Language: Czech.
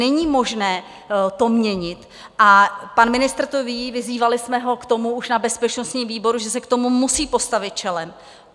Není možné to měnit a pan ministr to ví, vyzývali jsme ho k tomu už na bezpečnostním výboru, že se k tomu musí postavit čelem.